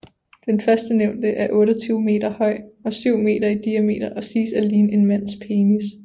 Den førstnævnte er 28 meter høj og 7 meter i diameter og siges at ligne en mands penis